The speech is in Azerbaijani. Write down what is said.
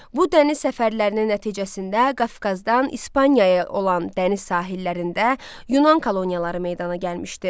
Bu dəniz səfərlərinin nəticəsində Qafqazdan İspaniyaya olan dəniz sahillərində Yunan koloniyaları meydana gəlmişdi.